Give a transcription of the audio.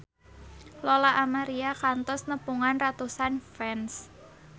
Lola Amaria kantos nepungan ratusan fans